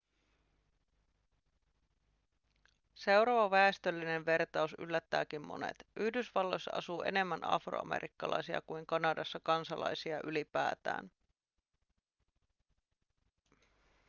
seuraava väestöllinen vertaus yllättääkin monet yhdysvalloissa asuu enemmän afroamerikkalaisia kuin kanadassa kansalaisia ylipäätään